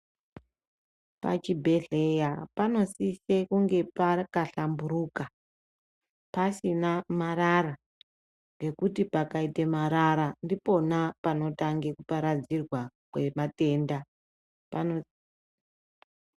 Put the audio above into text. Pachibhehleya panosise kunge pakahlamburuka, pasina marara. Ngekuti pakaite marara ndipona panotange kuparadzirwa kwematenda.